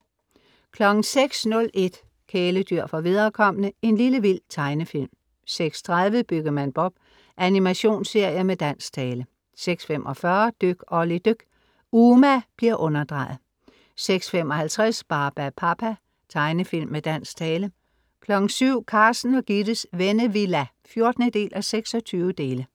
06:01 Kæledyr for viderekomne. En lille vild tegnefilm 06:30 Byggemand Bob. Animationsserie med dansk tale 06:45 Dyk Olli dyk. Uma bliver underdrejet 06:55 Barbapapa. Tegnefilm med dansk tale 07:00 Carsten og Gittes Vennevilla (14:26)